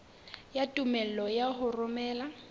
ya tumello ya ho romela